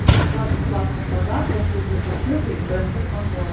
плюс два бесплатных подарка серьги пусеты и браслет пандора